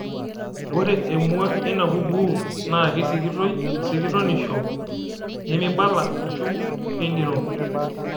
Ore emwa eina kukuu naa keisikitoi esikutonisho nemeibala ashuu king'iro.